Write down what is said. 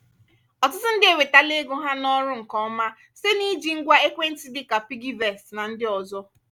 ọtụtụ ndị ewetala ego ha n’ọrụ nke ọma site n’iji ngwa ekwentị dị ka piggyvest na ndị ọzọ.